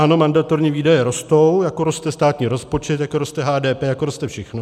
Ano, mandatorní výdaje rostou, jako roste státní rozpočet, jako roste HDP, jako roste všechno.